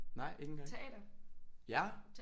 Nej ikke engang ja